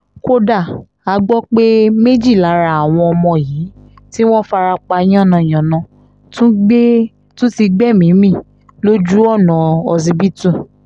kódà a gbọ́ pé méjì lára àwọn ọmọ yìí tí wọ́n farapa yánnayànna tún ti gbẹ̀mí mi lójú-ọ̀nà ọsibítù